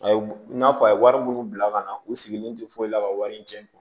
A ye i n'a fɔ a ye wari minnu bila ka na u sigilen tɛ foyi la ka wari in tiɲɛ